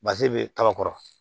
Bazɛn be kaba kɔrɔ